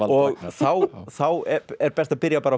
og þá þá er best að byrja bara